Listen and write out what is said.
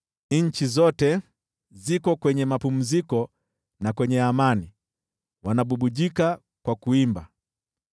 Nchi zote ziko kwenye mapumziko na kwenye amani, wanabubujika kwa kuimba.